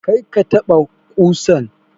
Kar ka taɓa ƙusan!